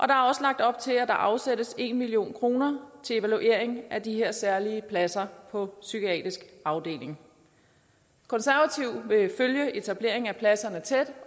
er også lagt op til at der afsættes en million kroner til evaluering af de her særlige pladser på psykiatrisk afdeling konservative vil følge etableringen af pladserne tæt